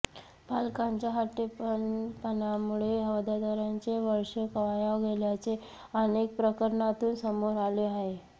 पालकांच्या हट्टीपणामुळे विद्यार्थ्यांचे वर्ष वाया गेल्याचे अनेक प्रकरणातून समोर आले आहे